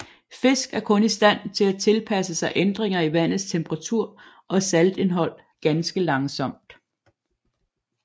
Fisk er kun i stand til at tilpasse sig ændringer i vandets temperatur og saltindhold ganske langsomt